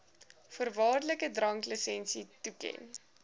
voorwaardelike dranklisensie toeken